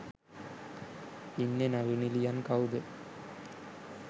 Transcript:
ඉන්න නළු නිළියන් කවුද